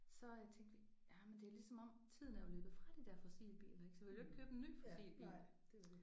Så tænkte vi jamen det er ligesom om tiden er jo løbet fra de der fossilbiler ik så vi ville jo ikke købe en ny fossilbil